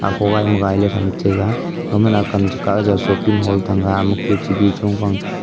akho gai ma gai le tham tega gama ne akam chikah e jao shoping hall thang ga hanma hu chi ge chong phang.